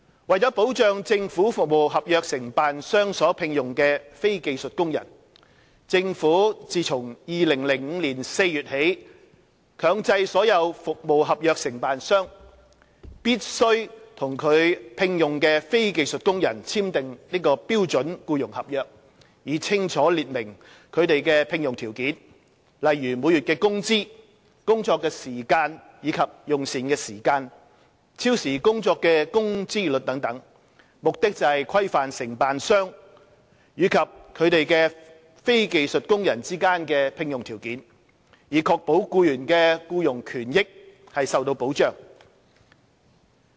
為保障政府服務合約承辦商所聘用的非技術工人，政府自2005年4月起，強制所有服務合約承辦商必須與其聘用的非技術工人簽訂標準僱傭合約，以清楚列明他們的聘用條件，例如每月工資、工作時間及用膳時間、超時工作的工資率等，目的是規範承辦商與其非技術工人之間的聘用條件，以確保僱員的僱傭權益受到保障。